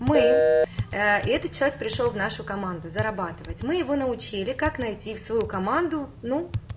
мы и этот человек пришёл в нашу команду зарабатывать мы его научили как найти в свою команду ну